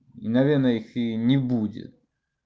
наверное их и не будет